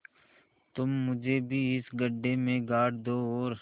तुम मुझे भी इस गड्ढे में गाड़ दो और